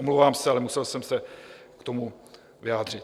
Omlouvám se, ale musel jsem se k tomu vyjádřit.